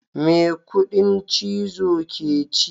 Me kudin chizo ke ci.